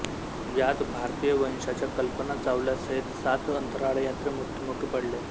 यात भारतीय वंशाच्या कल्पना चावला सहीत सात अंतराळयात्री मृत्युमुखी पडले होते